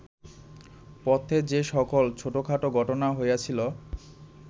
পথে যে-সকল ছোটখাট ঘটনা হইয়াছিল